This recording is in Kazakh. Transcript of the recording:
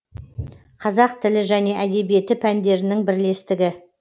қазақ тілі және әдебиеті пәндерінің бірлестігі